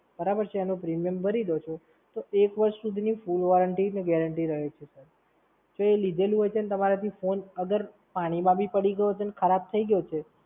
બરાબર છે અને premium ભરી દો છો, તો એક વર્ષ સુધીની Full Warranty અને guarantee રહે છે Sir. તો એ લીધેલી હોય છે અને તમારાથી phone અગર પાણીમાં ભી પડી ગયો હશે અને ખરાબ થઈ ગયો છે,